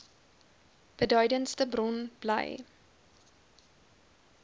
beduidendste bron bly